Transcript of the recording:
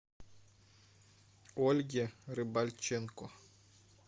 ольге рыбальченко